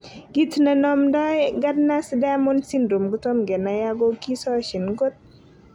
Kit ne inomdo Gardner Diamond syndrome kotomo kenai ago kisosyin kot.